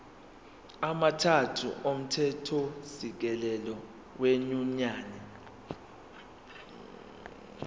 amathathu omthethosisekelo wenyunyane